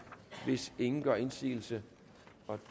hvis ingen gør indsigelse